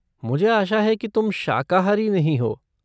मुझे आशा है कि तुम शाकाहारी नहीं हो।